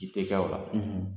Kiri tɛ kɛ o la.